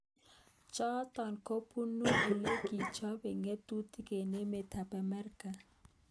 Chotok kobunu olekichope ngatutik eng emet ab Amerika.